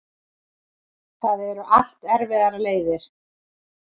Það eru allt erfiðar leiðir.